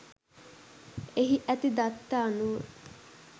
එහි ඇති දත්ත අනුව